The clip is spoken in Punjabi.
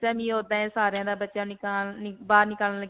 ਸਾਰੀਆਂ ਦਾ ਬੱਚਿਆਂ ਬਾਹਰ .